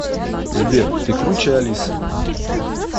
сбер ты круче алисы